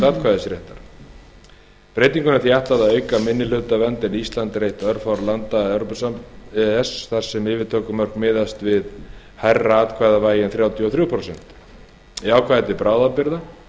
atkvæðisréttar breytingunni er því ætlað að auka minnihlutavernd en ísland er eitt örfárra landa e e s þar sem yfirtökumörk miðast við hærra atkvæðavægi en þrjátíu og þrjú prósent í ákvæði til bráðabirgða